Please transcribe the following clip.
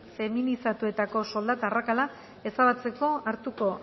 feminizatuetako soldata arrakala ezabatzeko hartuko